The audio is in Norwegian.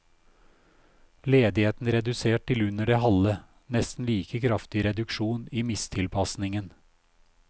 Ledigheten redusert til under det halve, nesten like kraftig reduksjon i mistilpasningen.